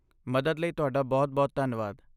ਮਦਦ ਲਈ ਤੁਹਾਡਾ ਬਹੁਤ ਬਹੁਤ ਧੰਨਵਾਦ